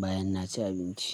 bayan na ci abinci.